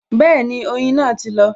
Bẹẹni, oyin náà ti lọ